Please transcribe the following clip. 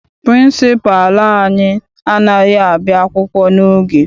Pịrịnsịpalụ anyị anaghị abịa akwụkwọ n'oge.